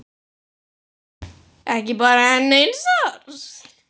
Ekki bara enn eins árs?